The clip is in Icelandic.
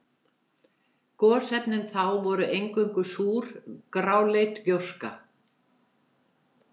Gosefnin þá voru eingöngu súr, gráleit gjóska.